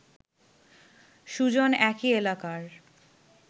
সুজন একই এলাকার